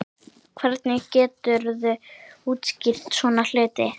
Hvernig geturðu útskýrt svona hluti?